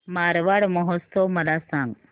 मारवाड महोत्सव मला सांग